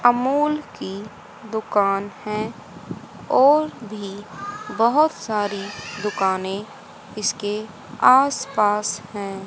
अमूल की दुकान है और भी बहुत सारी दुकानें इसके आसपास हैं।